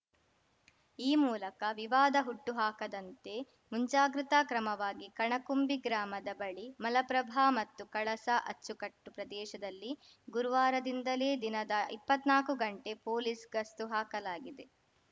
ಈ ಮೂಲಕ ವಿವಾದ ಹುಟ್ಟುಹಾಕದಂತೆ ಮುಂಜಾಗ್ರತಾ ಕ್ರಮವಾಗಿ ಕಣಕುಂಬಿ ಗ್ರಾಮದ ಬಳಿ ಮಲಪ್ರಭಾ ಮತ್ತು ಕಳಸಾ ಅಚ್ಚುಕಟ್ಟು ಪ್ರದೇಶದಲ್ಲಿ ಗುರುವಾರದಿಂದಲೇ ದಿನದ ಇಪ್ಪತ್ನಾಲ್ಕು ಗಂಟೆ ಪೊಲೀಸ್‌ ಗಸ್ತು ಹಾಕಲಾಗಿದೆ